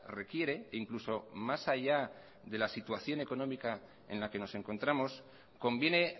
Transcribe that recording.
requiere e incluso más allá de la situación económica en la que nos encontramos conviene